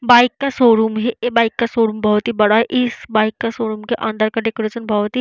Bike का showroom है। ये बाइक का शोरूम बहुत ही बड़ा है। इस बाइक का शोरूम के अंदर का डेकोरेशन बहुत ही--